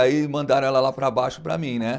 Aí mandaram ela lá para baixo para mim, né.